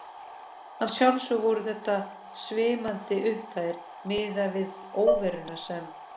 Að sjálfsögðu voru þetta svimandi upphæðir miðað við óveruna sem